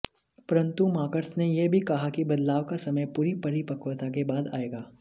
परंतु मार्क्स ने यह भी कहा कि बदलाव का समय पूरी परिपक्वता के बाद आएगा